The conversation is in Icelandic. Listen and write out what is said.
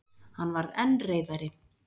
Hann varð enn reiðari.